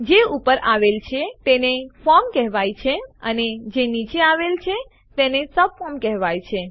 જે ઉપર આવેલ છે તેને ફોર્મ કહેવાય છે અને જે નીચે આવેલ છે તેને સબફોર્મ કહેવાય છે